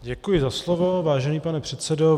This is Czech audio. Děkuji za slovo, vážený pane předsedo.